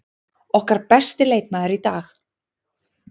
Okkar besti leikmaður í dag.